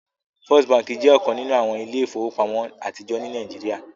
First Bánkì jẹ́ ọkan nínu awọn ilẹ̀-ifowopamọ̀ atijọ ní Nàìjíríà.